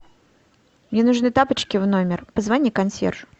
мне нужны тапочки в номер позвони консьержу